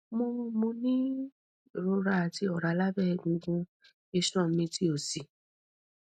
mo mo ni irora ati ọra labẹ egungun iṣan mi ti osi